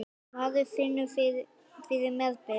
Maður finnur fyrir meðbyr.